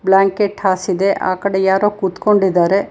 Blanket ಹಾಸಿದೆ ಆ ಕಡೆ ಯಾರೋ ಕೂತ್ಕೊಂಡಿದ್ದಾರೆ.